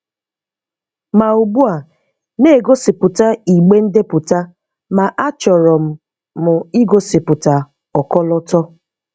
Ma ugbu a na-egosiputa igbe ndepụta ma achọrọ m m igosipụta ọkọlọtọ.